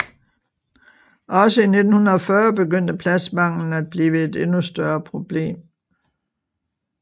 Også i 1940 begyndte pladsmanglen at blive et endnu større problem